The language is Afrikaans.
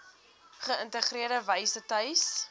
geïntegreerde wyse tuis